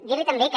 dir li també que